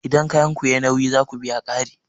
Idan kayanku sun yi nauyi, za ku biya ƙari